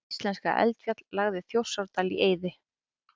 Hvaða íslenska eldfjall lagði Þjórsárdal í eyði?